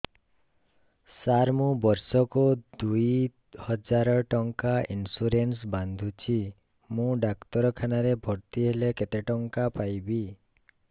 ସାର ମୁ ବର୍ଷ କୁ ଦୁଇ ହଜାର ଟଙ୍କା ଇନ୍ସୁରେନ୍ସ ବାନ୍ଧୁଛି ମୁ ଡାକ୍ତରଖାନା ରେ ଭର୍ତ୍ତିହେଲେ କେତେଟଙ୍କା ପାଇବି